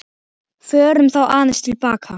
Förum þá aðeins til baka.